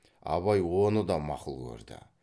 абай оны да мақұл көрді